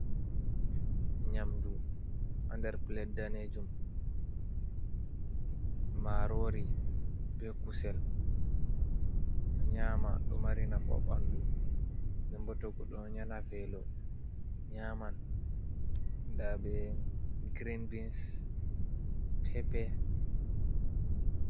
Nyamdu ha nder "pilet" daneejum, maaroori bee kusel ɗo nyaama, ɗo mari nafu ha ɓanndu. Nden bo to goɗɗo ɗo nana veelo nyaman, ndaa bee "girin bins, peepe.